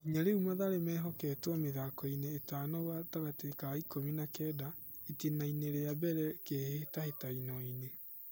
Nginya rĩu Mathare mahotetwo mĩthakoinĩ ĩtano gatagatĩ ka ikũmi na kenda (itĩnainĩ ria mbere kĩhĩtahĩtanoinĩ).